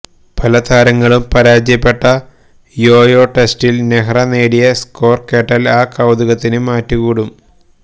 പലതാരങ്ങളും പരാജയപ്പെട്ട യോയോ ടെസ്റ്റില് നെഹ്റ നേടിയ സ്കോര് കേട്ടാല് ആ കൌതുകത്തിന് മാറ്റ് കൂടും